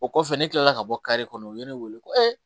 O kɔfɛ ne kilala ka bɔ kare kɔnɔ u ye ne wele ko